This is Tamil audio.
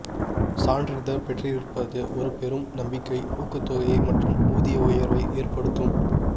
சான்றிதழ் பெற்றிருப்பது ஒரு பெரும் நம்பிக்கை ஊக்கத்தொகை மற்றும் ஊதிய உயர்வை ஏற்படுத்தும்